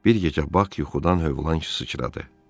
Bir gecə Bak yuxudan hövlan sıçradı.